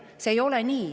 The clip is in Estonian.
See ei ole nii.